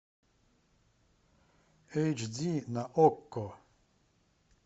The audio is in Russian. эйч ди на окко